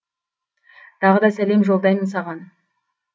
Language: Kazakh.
тағы да сәлем жолдаймын саған